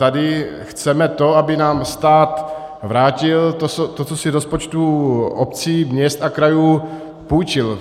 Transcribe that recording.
Tady chceme to, aby nám stát vrátil to, co si z rozpočtů obcí, měst a krajů půjčil.